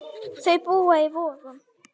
Þau búa í Vogum.